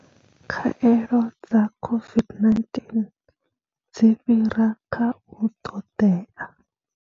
Khaelo dza COVID-19 dzi fhira kha u ṱoḓea.